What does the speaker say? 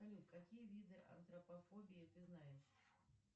салют какие виды антропофобии ты знаешь